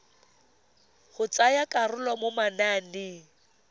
go tsaya karolo mo mananeng